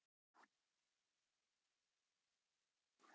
Mér finnst fólk ekki nógu nægjusamt.